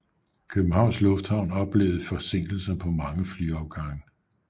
Københavns Lufthavn oplevede forsinkelser på mange flyafgange